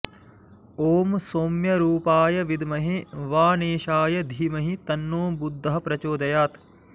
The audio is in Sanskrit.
ॐ सौम्यरूपाय विद्महे वाणेशाय धीमहि तन्नो बुधः प्रचोदयात्